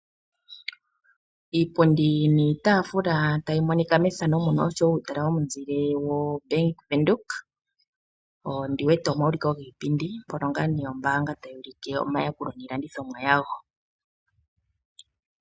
Iipundi niitaafula oshowo uutala womunzile wombaaga yobank Windhoek pomaulikilo giipindi mpono ombaanga tayi ulike omayakulo niilandithomwa yawom